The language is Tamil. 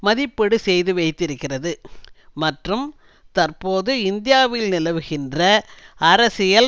மதிப்பீடு செய்து வைத்திருக்கிறது மற்றும் தற்போது இந்தியாவில் நிலவுகின்ற அரசியல்